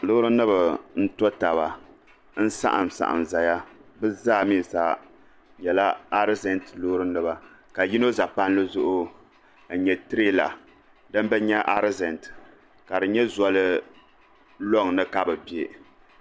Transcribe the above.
loorinima n-to taba n-saɣimsaɣim zaya bɛ zaa mi nyɛla arizɛnti loorinima ka yino za palli zuɣu n-nyɛ tireela din bi nya arizɛnti ka di zolɔŋ ni ka bɛ be